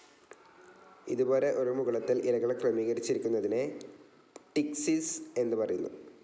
ഇതുപോലെ, ഒരു മുകുളത്തിൽ ഇലകൾ ക്രമീകരിച്ചിരിക്കുന്നതിനെ പ്ടിക്‌സിസ് എന്ന് പറയുന്നു.